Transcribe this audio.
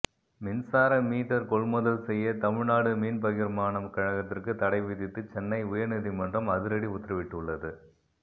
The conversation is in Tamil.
மின்சார மீட்டர் கொள்முதல் செய்ய தமிழ்நாடு மின்பகிர்மான கழகத்திற்கு தடை விதித்து சென்னை உயர்நீதிமன்றம் அதிரடி உத்தரவிட்டுள்ளது